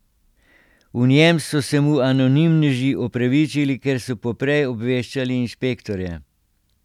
V njem so se mu anonimneži opravičili, ker so poprej obveščali inšpektorje.